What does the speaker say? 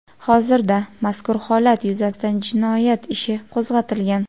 Hozirda mazkur holat yuzasidan jinoyat ishi qo‘zg‘atilgan.